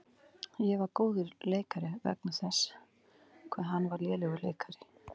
Ég varð góður leikari vegna þess hvað hann var lélegur leikari.